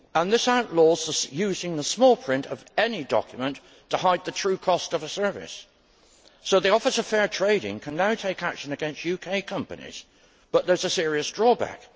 They outlaw using the small print of any document to hide the true cost of a service. So the Office of Fair Trading can now take action against UK companies, but there is a serious drawback.